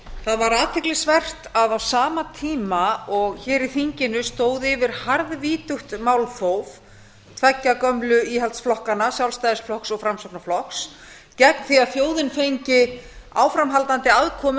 það var athyglisvert að á sama tíma og hér í þinginu stóð yfir harðvítugt málþóf tveggja gömlu íhaldsflokkanna sjálfstæðisflokks og framsóknarflokks gegn því að þjóðin fengi áframhaldandi aðkomu að